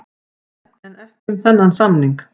En ekki um þennan samning.